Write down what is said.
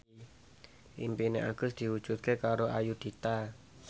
impine Agus diwujudke karo Ayudhita